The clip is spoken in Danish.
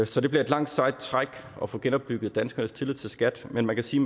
så det bliver et langt sejt træk at få genopbygget danskernes tillid til skat men man kan sige